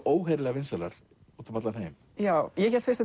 óheyrilega vinsælar út um allan heim já ég hélt fyrst